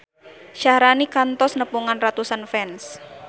Syaharani kantos nepungan ratusan fans